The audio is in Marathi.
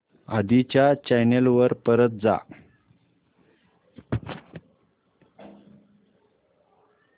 आधी च्या चॅनल वर परत जा